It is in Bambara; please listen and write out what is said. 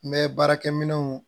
N bɛ baarakɛminɛnw